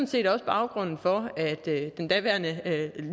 set også baggrunden for at den daværende